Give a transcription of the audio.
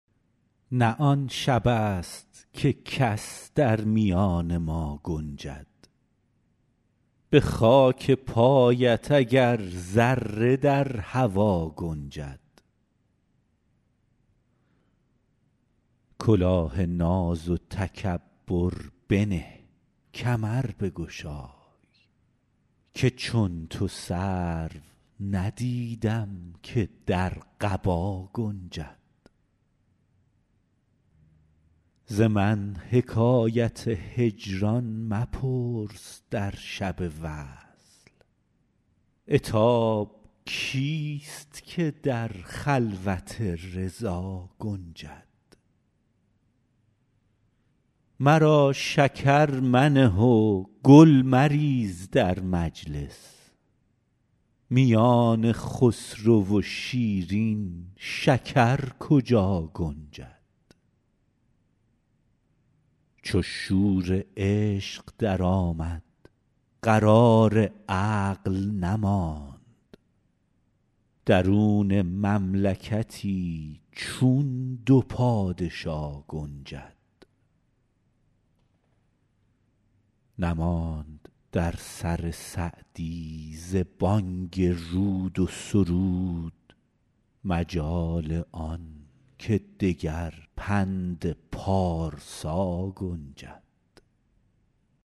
نه آن شبست که کس در میان ما گنجد به خاک پایت اگر ذره در هوا گنجد کلاه ناز و تکبر بنه کمر بگشای که چون تو سرو ندیدم که در قبا گنجد ز من حکایت هجران مپرس در شب وصل عتاب کیست که در خلوت رضا گنجد مرا شکر منه و گل مریز در مجلس میان خسرو و شیرین شکر کجا گنجد چو شور عشق درآمد قرار عقل نماند درون مملکتی چون دو پادشا گنجد نماند در سر سعدی ز بانگ رود و سرود مجال آن که دگر پند پارسا گنجد